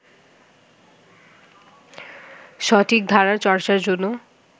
সঠিক ধারার চর্চার জন্য